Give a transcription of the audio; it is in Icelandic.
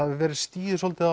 hefur verið stigið svolítið